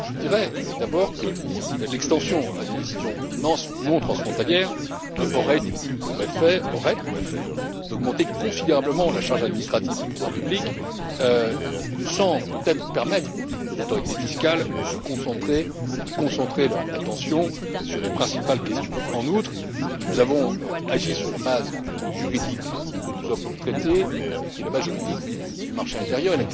Je dirais d'abord que l'extension à des décisions non transfrontalières aurait eu, et aurait, pour effet d'augmenter considérablement la charge administrative des pouvoirs publics, sans peut être permettre aux autorités fiscales de se concentrer ou de concentrer leur attention sur les principales questions. En outre, nous avons agi sur la base juridique que nous offre le traité, qui est la base juridique du marché intérieur.